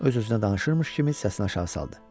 Öz-özünə danışırmış kimi səsini aşağı saldı.